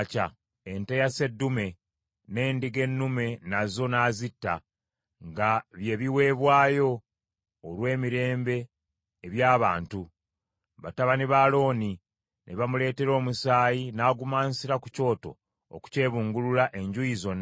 Ente ya sseddume n’endiga ennume nazo n’azitta, nga bye biweebwayo olw’emirembe eby’abantu; batabani ba Alooni ne bamuleetera omusaayi, n’agumansira ku kyoto okukyebungulula enjuuyi zonna.